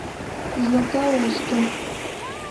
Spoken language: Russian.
златоусту